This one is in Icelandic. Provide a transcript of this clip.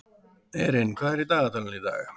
Erin, hvað er í dagatalinu í dag?